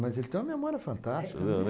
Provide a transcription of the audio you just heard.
Mas ele tem uma memória fantástica.